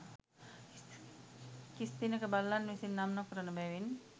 කිස් දිනක බල්ලන් විසින් නම් නොකරන බැවින්